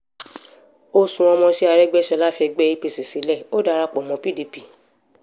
ọ̀sun ọmọọṣẹ́ arégbèsọlá fẹgbẹ́ apc sílẹ̀ ò darapọ̀ mọ́ mọ́ pdp